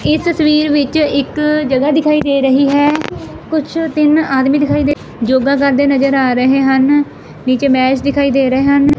ਇਸ ਤਸਵੀਰ ਵਿੱਚ ਇੱਕ ਜਗ੍ਹਾ ਦਿਖਾਈ ਦੇ ਰਹੀ ਹੈ ਕੁਛ ਤਿੰਨ ਆਦਮੀ ਦਿਖਾਈ ਦੇ ਯੋਗਾ ਕਰਦੇ ਨਜ਼ਰ ਆ ਰਹੇ ਹਨ ਵਿੱਚ ਮੈਚ ਦਿਖਾਈ ਦੇ ਰਹੇ ਹਨ।